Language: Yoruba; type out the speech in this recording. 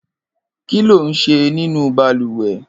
Kiló n ṣé ninú bàlùwẹ̀?